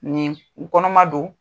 Nin kɔnɔma don.